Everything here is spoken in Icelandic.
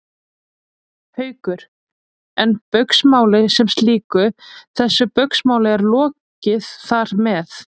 Haukur: En Baugsmáli sem slíku, þessu Baugsmáli er lokið þar með?